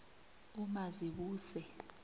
umazibuse